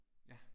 Ja